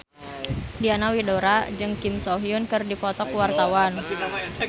Diana Widoera jeung Kim So Hyun keur dipoto ku wartawan